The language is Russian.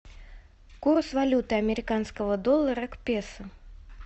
курс валюты американского доллара к песо